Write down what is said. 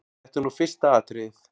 Þetta er nú fyrsta atriðið.